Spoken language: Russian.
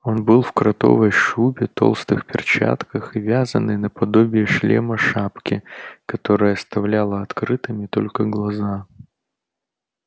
он был в кротовой шубе толстых перчатках и вязаной наподобие шлема шапке которая оставляла открытыми только глаза